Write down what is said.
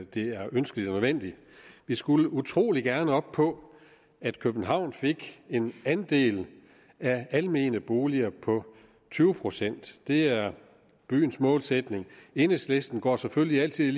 det er ønskeligt og nødvendigt vi skulle utrolig gerne op på at københavn fik en andel af almene boliger på tyve procent det er byens målsætning enhedslisten går selvfølgelig altid